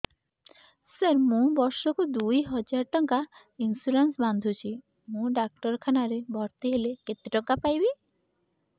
ସାର ମୁ ବର୍ଷ କୁ ଦୁଇ ହଜାର ଟଙ୍କା ଇନ୍ସୁରେନ୍ସ ବାନ୍ଧୁଛି ମୁ ଡାକ୍ତରଖାନା ରେ ଭର୍ତ୍ତିହେଲେ କେତେଟଙ୍କା ପାଇବି